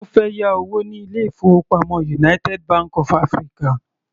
Ó fẹ́ yá owó ní ilé-ìfowópamọ́ United Bank of African.